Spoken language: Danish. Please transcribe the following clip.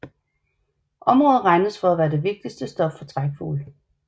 Området regnes for at være det vigtigste stop for trækfugle